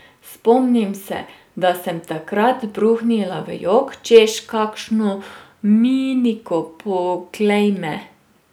Spomnim se, da sem takrat bruhnila v jok, češ, kakšno miniko, poglej me!